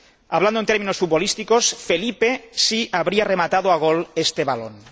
Hablando en términos futbolísticos, Felipe sí habría rematado a gol este balón.